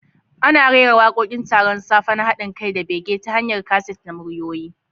Ana rera wakokin taron safe na hadin kai da bege ta hanyar kaset na muryoyi.